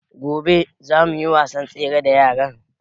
Gobe zamu yi wasan tsere da yaran